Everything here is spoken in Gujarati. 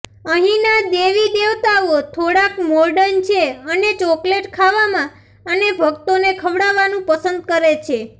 અહીના દેવી દેવતાઓ થોડાક મોર્ડન છે અને ચોકલેટ ખાવામાં અને ભક્તોને ખવડાવવાનું પસંદ કરે છે